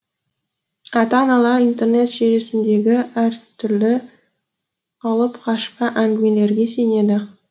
ата аналар интернет желісіндегі әртүрлі алыпқашпа әңгімелерге сенеді